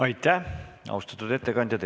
Aitäh, austatud ettekandja!